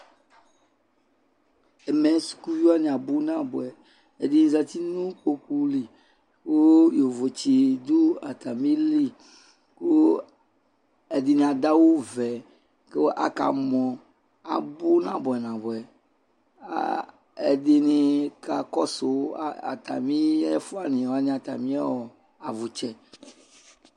Ɛmɛ sukuviwa abu nabuɛ azɛtinu ikpoku li ku yovotsi du atamili ku ɛdini adu awu vɛ ku akamɔ abu nabuɛ nabuɛ ɛdini kakɔsu atami ɛfuani atamiɔ avutsɛ